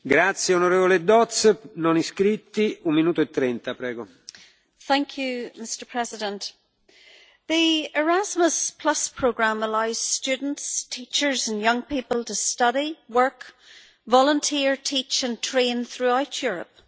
Mr President, the Erasmus programme allows students, teachers and young people to study, work, volunteer, teach and train throughout Europe.